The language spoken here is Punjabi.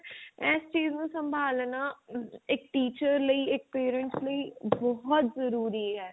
ਇਸ ਚੀਜ ਨੂੰ ਸਮਭਾਲਣਾ ਆ ਇੱਕ teacher ਲਈ ਇੱਕ parents ਲਈ ਬਹੁਤ ਜਰੂਰੀ ਹੈ